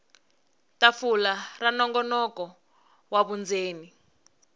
tafula ra nongonoko wa vundzeni